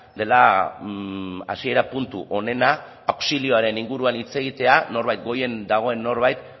dela hasiera puntu onena auxilioaren inguruan hitz egitea norbait goian dagoen norbait